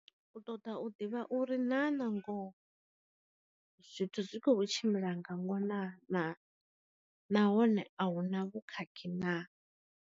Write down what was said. U ṱoḓa u ḓivha uri na na ngoho, zwithu zwi kho tshimbila nga ngona na na hone a huna vhu khakhi na.